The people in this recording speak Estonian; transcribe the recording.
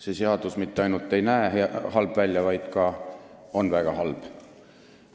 See seadus mitte ainult ei näe halb välja, vaid ka on väga halb.